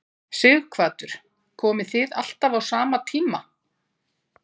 Sighvatur: Komið þið alltaf á sama tíma?